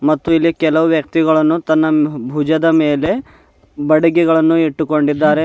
ಮತ್ತು ಇಲ್ಲಿ ಕೆಲವು ವ್ಯಕ್ತಿಗಳನ್ನು ತನ್ನ ಬುಜದ ಮೇಲೆ ಬಡಗಿಗಳನ್ನು ಇಟ್ಟುಕೊಂಡಿದ್ದಾರೆ.